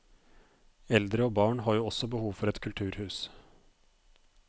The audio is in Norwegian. Eldre og barn har jo også behov for et kulturhus.